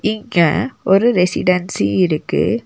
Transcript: இங்க ஒரு ரெசிடன்சி இருக்கு.